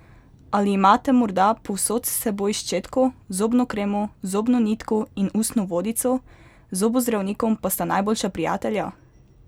Ali imate morda povsod s seboj ščetko, zobno kremo, zobno nitko in ustno vodico, z zobozdravnikom pa sta najboljša prijatelja?